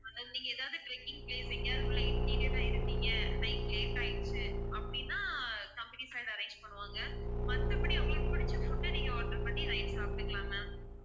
நீங்க எதாவது trekking place எங்கயாவது உள்ள interior ஆ இருந்திங்க night late ஆயிடுச்சு அப்படின்னா company side arrange பண்ணுவாங்க மத்தபடி உங்களுக்கு பிடிச்ச food அ நீங்க order பண்ணி வாங்கி சாப்பிட்டுக்கலாம் ma'am